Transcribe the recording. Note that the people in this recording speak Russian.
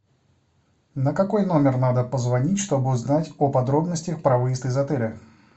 на какой номер надо позвонить чтобы узнать о подробностях про выезд из отеля